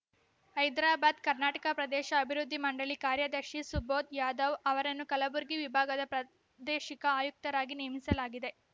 ಹೈದರಾಬಾದ್‌ ಕರ್ನಾಟಕ ಪ್ರದೇಶ ಅಭಿವೃದ್ಧಿ ಮಂಡಳಿ ಕಾರ್ಯದರ್ಶಿ ಸುಬೋಧ್‌ ಯಾದವ್‌ ಅವರನ್ನು ಕಲಬುರ್ಗಿ ವಿಭಾಗದ ಪ್ರಾದೇಶಿಕ ಆಯುಕ್ತರಾಗಿ ನೇಮಿಸಲಾಗಿದೆ